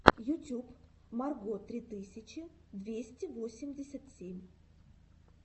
ютюб марго три тысячи двести восемьдесят семь